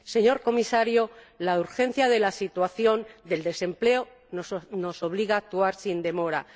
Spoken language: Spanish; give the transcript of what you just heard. Señor Comisario, la urgencia de la situación del desempleo nos obliga a actuar sin demora.